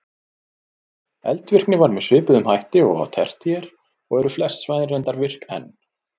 Eldvirkni var með svipuðum hætti og á tertíer og eru flest svæðin reyndar virk enn.